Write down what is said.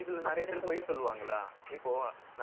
இதுல, நிறைய பேர், பொய் சொல்லுவாங்களா இப்போ,